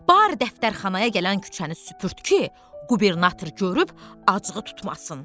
Barı dəftərxanaya gələn küçəni süpürd ki, qubernator görüb acığı tutmasın.